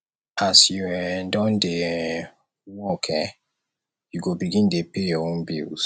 as you um don dey um work um you go begin dey pay your own bills